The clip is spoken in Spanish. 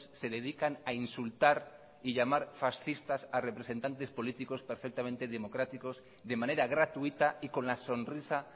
se dedican a insultar y llamar fascistas a representantes políticos perfectamente democráticos de manera gratuita y con la sonrisa